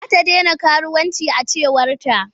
Za ta dena karuwanci a cewarta.